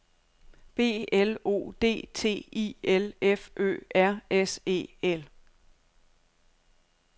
B L O D T I L F Ø R S E L